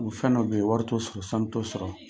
U fɛn dɔ be yen, wari t'o sɔrɔ sanu t'o sɔrɔ.